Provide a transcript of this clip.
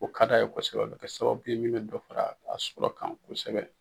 Ko ka di a ye kosɛbɛ o bɛ kɛ sababu min bɛ dɔ fara a sɔrɔ kan kosɛbɛ